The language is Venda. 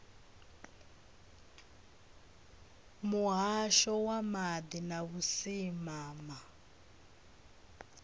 muhasho wa maḓi na vhusimama